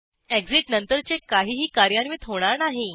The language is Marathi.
एक्सिट नंतरचे काहीही कार्यान्वित होणार नाही